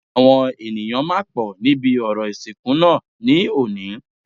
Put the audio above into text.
Àwọn ènìyàn máa pọ̀ níbi orò ìsìnkú náà ní òní